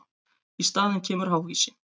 Í staðinn kemur háhýsi.